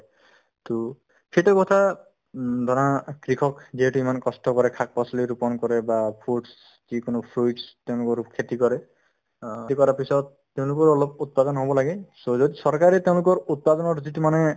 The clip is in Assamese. to সেইটো কথা উম ধৰা কৃষক যিহেতু ইমান কষ্ট কৰে শাক-পাচলি ৰোপন কৰে বা fruits যিকোনো fruits তেওঁলোকৰো খেতি কৰে খেতি কৰাৰ পিছত তেওঁলোকৰ অলপ উৎপাদন হ'ব লাগে চৰকাৰে তেওঁলোকৰ উৎপাদনৰ যিটো মানে